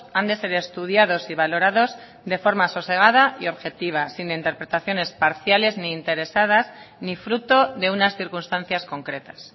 han de ser estudiados y valorados de forma sosegada y objetiva sin interpretaciones parciales ni interesadas ni fruto de unas circunstancias concretas